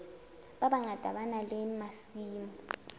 bangata ba na le masimo